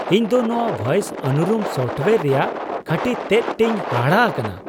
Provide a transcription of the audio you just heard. ᱤᱧᱫᱚ ᱱᱚᱣᱟ ᱵᱷᱚᱭᱮᱥ ᱩᱱᱩᱨᱩᱢ ᱥᱳᱯᱷᱴᱳᱭᱟᱨ ᱨᱮᱭᱟᱜ ᱠᱷᱟᱹᱴᱤ ᱛᱮᱫ ᱴᱮᱧ ᱦᱟᱦᱟᱲᱟ ᱟᱠᱟᱱᱟ ᱾